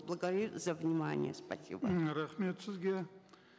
за внимание спасибо м рахмет сізге